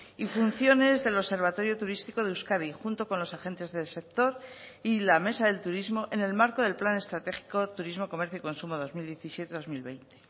y funciones del observatorio turístico de euskadi junto con los agentes del sector y la mesa del turismo en el marco del plan estratégico turismo comercio y consumo dos mil diecisiete dos mil veinte